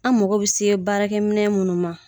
An mago bɛ se baarakɛ minɛn munnu ma.